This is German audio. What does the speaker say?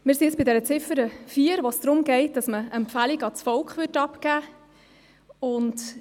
Wir sind bei der Ziffer 4, bei der es darum geht, dem Volk eine Empfehlung abzugeben.